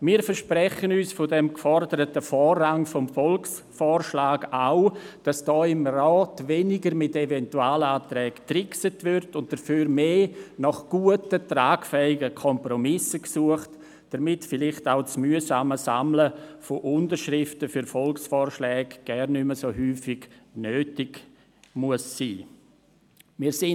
Wir versprechen uns vom geforderten Vorrang des Volksvorschlags auch, dass hier im Rat weniger mit Eventualanträgen getrickst und dafür mehr nach guten, tragfähigen Kompromissen gesucht wird, damit vielleicht auch das mühsame Sammeln von Unterschriften für Volksvorschläge gar nicht mehr so häufig nötig sein muss.